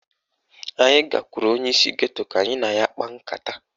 Anyị gakwuru onyeisi geto ka anyị na ya kpaa nkata